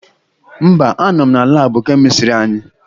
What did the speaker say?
Mba, anọ m na laabụ kemistịrị anyị.